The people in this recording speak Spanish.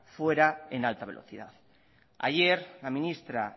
fuera en alta velocidad ayer la ministra